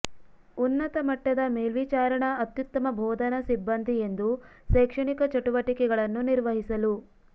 ಉನ್ನತ ಮಟ್ಟದ ಮೇಲ್ವಿಚಾರಣಾ ಅತ್ಯುತ್ತಮ ಬೋಧನಾ ಸಿಬ್ಬಂದಿ ಎಂದು ಶೈಕ್ಷಣಿಕ ಚಟುವಟಿಕೆಗಳನ್ನು ನಿರ್ವಹಿಸಲು